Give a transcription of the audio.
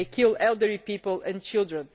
These kill elderly people and children.